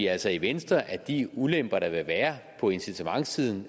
altså i venstre at de ulemper der vil være på incitamentssiden